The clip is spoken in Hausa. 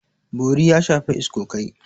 Bori ya shafi iskokai.